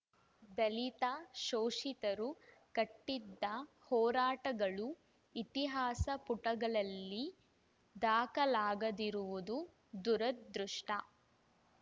ದಲಿತ ಶೋಷಿತರು ಕಟ್ಟಿದ್ದ ಹೋರಾಟಗಳು ಇತಿಹಾಸ ಪುಟಗಳಲ್ಲಿ ದಾಖಲಾಗದಿರುವುದು ದುರದೃಷ್ಟ